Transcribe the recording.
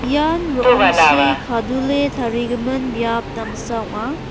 ian ro·ongchi kadule tarigimin biap damsa ong·a.